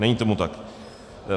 Není tomu tak.